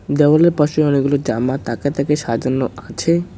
জামাগুলোর পাশে অনেকগুলো জামা তাকে তাকে সাজানো আছে।